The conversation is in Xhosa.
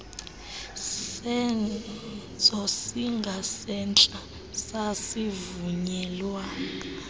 senzo singasentla sasivunyelwa